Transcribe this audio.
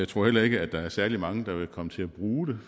tror heller ikke der er særlig mange der vil komme til at bruge det